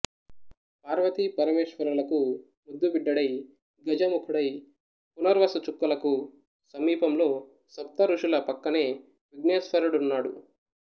పార్వతీ పరమేశ్వరులకు ముద్దుబిడ్డడై గజముఖుడై పునర్వసుచుక్కలకు సమీపంలో సప్తఋషుల పక్కనే విఘ్నేశ్వరడున్నాడు